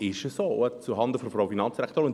Noch einmal zuhanden der Finanzdirektorin: